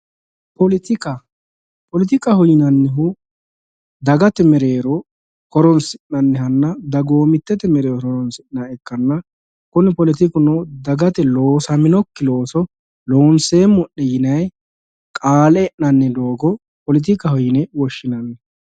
Poletikka, poletikkaho yinnannihu dagate mereero horonsi'nannihanna dagoomitete mereero horonsi'nanniha ikkanna kunni poletikuno dagate loosaminokki looso loonseemmo'ne yinnayi qaale e'nanni doogo poletikkaho yinne woshshinanni.